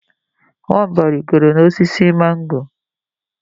Nwamba rigoro n’osisi mango